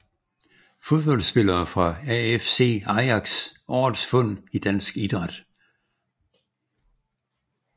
Fodboldspillere fra AFC Ajax Årets fund i dansk idræt